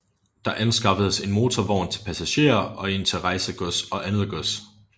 Der anskaffedes en motorvogn til passagerer og en til rejsegods og andet gods